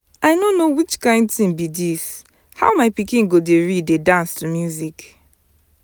i no know which kin thing be dis. how my pikin go dey read dey dance to music